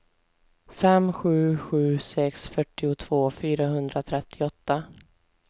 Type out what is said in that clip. fem sju sju sex fyrtiotvå fyrahundratrettioåtta